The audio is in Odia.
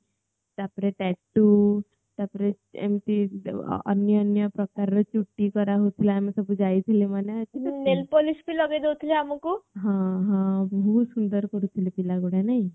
ତାପରେ ଟାଟୁ ତାପରେ ଏମିତି ଅନ୍ୟାନ୍ୟ ପ୍ରକାରର ଛୁଟି କରା ହଉଥିଲା ଆମେ ସବୁ ଯାଇଥିଲେ ମନେ ଅଛି ବହୁତ ସୁନ୍ଦର କରିଥିଲେ ପିଆଲଗୁରା ନାଇଁ